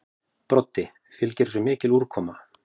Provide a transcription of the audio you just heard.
Broddi: Fylgir þessu mikil úrkoma?